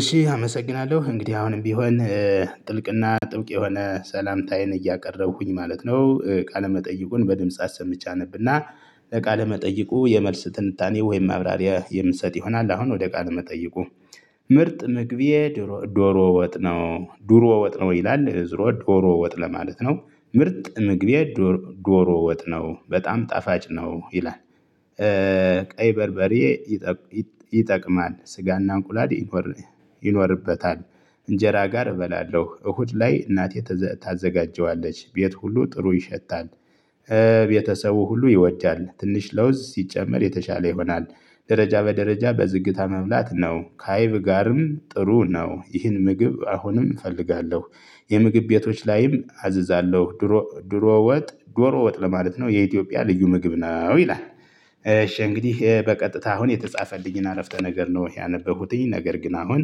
እሺ አመሰግናለሁ እንግዲህ አሁንም ቢሆን ጥልቅና ጥብቅ የሆነ ሰላምታዬን እያቀረብኹኝ ማለት ነው። ቃለ መጠይቁን በድምጽ አሰምቼ አነብና ለቃለ መጠይቁ የመልስ ትንታኔ ወይም ማብራሪያ የምሰጥ ይሆናል። አሁን ወደ ቃለ መጠይቁ። ምርጥ ምግቤ ዶሮ ወጥ ነው ዱሮ ወጥ ነው ይላል እ ዙሮ ዶሮ ወጥ ለማለት ነው ምርጥ ምግብ ዶሮ ወጥ ነው በጣም ጣፋጭ ነው ይላል። ቀይ በርበሬ ይጠቅማል። ስጋና እንቁላል ይኖርበታል። እንጀራ ጋር እበላለሁ። እሁድ ላይ እናቴ ታዘጋጀዋለች። ቤት ሁሉ ጥሩ ይሸታል። ቤተሰቡ ሁሉ ይወዳል ትንሽ ለውዝ ሲጨመር የተሻለ ይሆናል። ደረጃ በደረጃ በዝግታ መብላት ነው ካይብ ጋርም ጥሩ ነው። ይህን ምግብ አሁንም እፈልጋለሁ። የምግብ ቤቶች ላይም አዝዛለሁ ድሮ ድሮ ወጥ ዶሮ ወጥ ለማለት ነው የኢትዮጵያ ልዩ ምግብ ነው ይላል። እሺ እንግዲህ በቀጥታ አሁን የተጻፈልኝን አረፍተ ነገር ነው ያነበብሁትኝ ነገር ግን አሁን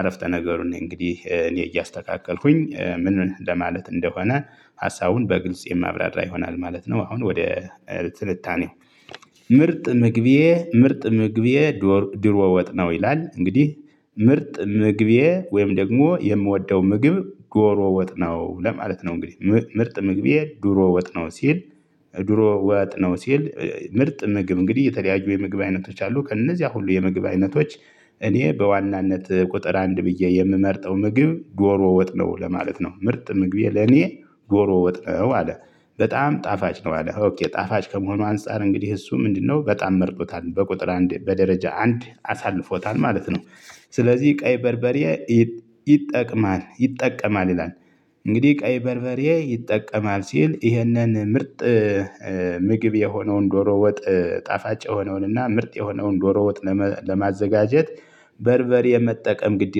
አረፍተ ነገሩን እኔ እንግዲህ እኔ እያስተካከልኩኝ ምን ለማለት እንደሆነ? ሀሳቡን በግልጽ የማብራራ ይሆናል ማለት ነው። አሁን ወደ ትንታኔ። ምርጥ ምግቤ ምርጥ ምግቤ ድሮ ወጥ ነው ይላል እንግዲህ ምርጥ ምግቤ ወይም ደግሞ የምወደው ምግብ ዶሮ ወጥ ነው ለማለት ነው። እንግዲህ ምርጥ ምግቤ ድሮ ወጥ ነው ሲል። ድሮ ወጥ ነው ሲል። ምርጥ ምግብ እንግዲህ የተለያዩ የምግብ አይነቶች አሉ ከእነዚያ ሁሉ የምግብ አይነቶች። እኔ በዋናነት ቁጥር አንድ ብዬ የምመርጠው ምግብ ዶሮ ወጥነው ለማለት ነው። ምርጥ ምግቤ ለኔ ዶሮ ወጥነው አለ በጣም ጣፋጭ ነው። አለ ኦኬ ጣፋጭ ከመሆኑ አንፃር እንግዲህ እሱ ምንድነው? በጣም መርጦታል በቁጥር አንድ በደረጃ አንድ አሳልፎታል ማለት ነው። ስለዚህ ቀይ በርበሬ ይጠቅማል ይጠቀማል ይላል። እንግዲህ ቀይ በርበሬ ይጠቀማል ሲል ይህንን ምርጥ ምግብ የሆነውን ዶሮ ወጥ ጣፋጭ የሆነውን እና ምርጥ የሆነውን ዶሮ ወጥ ለማዘጋጀት በርበሬ መጠቀም ግድ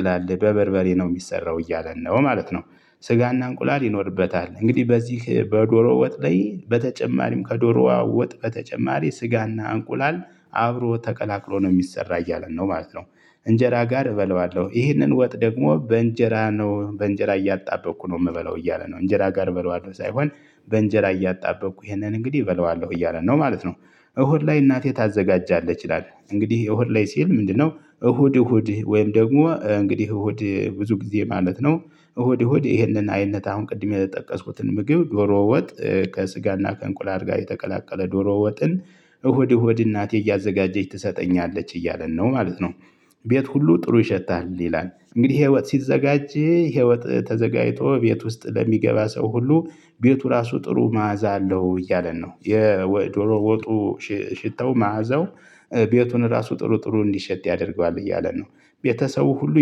ይላል በበርበሬ ነው የሚሰራው እያለን ነው ማለት ነው። ስጋና እንቁላል ይኖርበታል እንግዲህ በዚህ በዶሮ ወጥ ላይ በተጨማሪም ከዶሮዋ ወጥ በተጨማሪ ስጋና እንቁላል አብሮ ተቀላቅሎ ነው የሚሰራ እያለን ነው ማለት ነው። እንጀራ ጋር እበላዋለሁ ይህንን ወጥ ደግሞ በእንጀራ ነው በእንጀራ እያጣበቅኩ ነው የምበለው እያለ ነው እንጀራ ጋር እበላዋለሁ ሳይሆን በእንጀራ እያጣበቅኩ ይሄንን እንግዲህ እበላዋለሁ እያለን ነው ማለት ነው። እሁድ ላይ እናቴ ታዘጋጃለች ይላል እንግዲህ እሁድ ላይ ሲል ምንድነው? እሁድ እሁድ ወይም ደግሞ እንግዲህ እሁድ ብዙ ጊዜ ማለት ነው እሁድ እሁድ ይሄንን አይነት አሁን ቅድም የጠቀስኩትን ምግብ ዶሮ ወጥ ከስጋና ከእንቁላል ጋር የተቀላቀለ ዶሮ ወጥን እሁድ እሁድ እናቴ እያዘጋጀች ትሰጠኛለች እያለን ነው ማለት ነው። ቤት ሁሉ ጥሩ ይሸታል ይላል እንግዲህ ይሄ ወጥ ሲዘጋጅ ይሄ ወጥ ተዘጋጅቶ ቤት ውስጥ ለሚገባ ሰው ሁሉ ቤቱ ራሱ ጥሩ መዓዛ አለው እያለን ነው የዶሮ ወጡ ሽታው መዓዛው ቤቱን ራሱ ጥሩ ጥሩ እንዲሸት ያደርገዋል እያለ ነው። ቤተሰቡ ሁሉ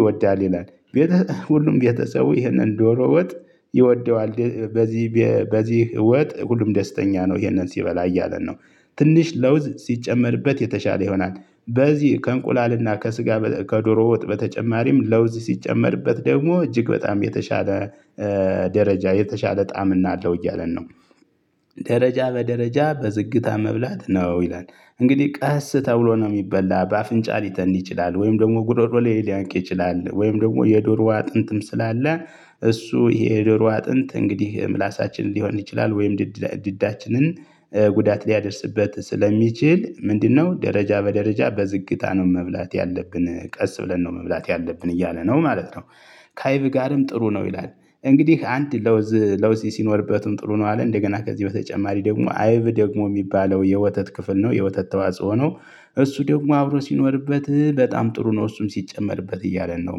ይወዳል ይላል። ሁሉም ቤተሰቡ ይህንን ዶሮ ወጥ ይወደዋል በዚህ በዚህ ወጥ ሁሉም ደስተኛ ነው ይሄንን ሲበላ እያለን ነው። ትንሽ ለውዝ ሲጨመርበት የተሻለ ይሆናል በዚህ ከእንቁላልና ከስጋ ከዶሮ ወጥ በተጨማሪም ለውዝ ሲጨመርበት ደግሞ እጅግ በጣም የተሻለ ደረጃ የተሻለ ጣዕምና አለው እያለን ነው። ደረጃ በደረጃ በዝግታ መብላት ነው ይላል። እንግዲህ ቀስ ተብሎ ነው የሚበላ በአፍንጫ ሊተን ይችላል ወይም ደግሞ ጉሮሮ ላይ ሊያንቅ ይችላል ወይም ደግሞ የዶሮው አጥንትም ስላለ እሱ የደሮ አጥንት እንግዲህ ምላሳችንን ሊሆን ይችላል ወይም ድድ ድዳችንን ጉዳት ሊያደርስበት ስለሚችል ምንድነው ደረጃ በደረጃ በዝግታ ነው መብላት ያለብን ቀስ ብለን ነው መብላት ያለብን እያለ ነው ማለት ነው። ከአይብ ጋርም ጥሩ ነው ይላል። እንግዲህ አንድ ለውዝ ለውዝ ሲኖርበትም ጥሩ ነው አለ እንደገና ከዚህ በተጨማሪ ደግሞ አይብ ደግሞ የሚባለው የወተት ክፍል ነው የወተት ተዋጽኦ ነው። እሱ ደግሞ አብሮ ሲኖርበት በጣም ጥሩ ነው እሱም ሲጨመርበት እያለን ነው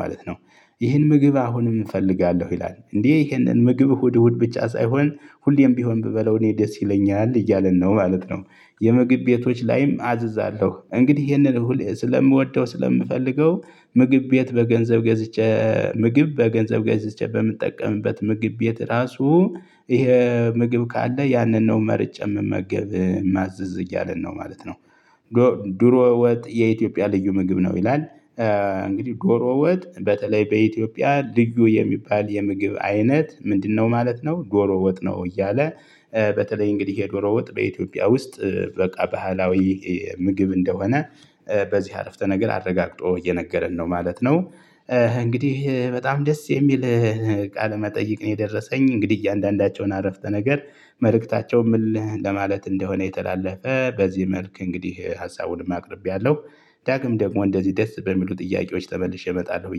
ማለት ነው። ይህን ምግብ አሁንም እፈልጋለሁ ይላል እንዴ? ይህንን ምግብ እሁድ እሁድ ብቻ ሳይሆን ሁሌም ቢሆን ብበላው እኔ ደስ ይለኛል እያለን ነው ማለት ነው። የምግብ ቤቶች ላይም አዝዛለሁ እንግዲህ ይሄንን እሁድ ስለምወደው ስለምፈልገው ምግብ ቤት በገንዘብ ገዝቼ ምግብ በገንዘብ ገዝቼ በምጠቀምበት ምግብ ቤት ራሱ ይሄ ምግብ ካለ ያንን ነው መርጬ እምመገብ እማዝዝ እያለን ነው ማለት ነው። ድሮ ወጥ የኢትዮጵያ ልዩ ምግብ ነው ይላል። እንግዲህ ዶሮ ወጥ በተለይ በኢትዮጵያ ልዩ የሚባል የምግብ አይነት ምንድነው? ማለት ነው ዶሮ ወጥ ነው እያለ በተለይ እንግዲህ የዶሮ ወጥ በኢትዮጵያ ውስጥ በቃ ባህላዊ ምግብ እንደሆነ በዚህ አረፍተ ነገር አረጋግጦ እየነገረን ነው ማለት ነው። እንግዲህ በጣም ደስ የሚል ቃለ መጠይቅ ነው የደረሰኝ እንግዲህ እያንዳንዳቸውን አረፍተ ነገር መልእክታቸው ምን ለማለት እንደሆነ የተላለፈ በዚህ መልክ እንግዲህ ሀሳቡንም አቅርቤያለሁ። ዳግም ደግሞ እንደዚህ ደስ በሚሉ ጥያቄዎች ተመልሼ እመጣለሁ